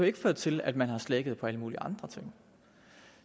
ikke ført til at man har slækket på alle mulige andre ting